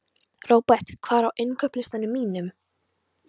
Robert, hvað er á innkaupalistanum mínum?